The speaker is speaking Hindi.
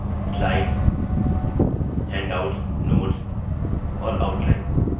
slides हैण्डआउट्स notes और outline